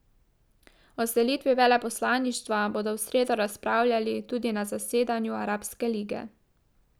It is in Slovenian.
O selitvi veleposlaništva bodo v sredo razpravljali tudi na zasedanju Arabske lige.